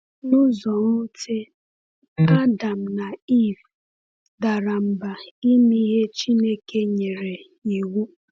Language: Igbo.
N’ụzọ nwute, Adam na Ivụ dara mba ime ihe Chineke nyere iwu.